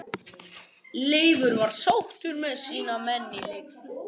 Leifur var sáttur með sína menn í leikslok.